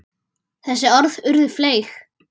Þessi orð urðu fleyg.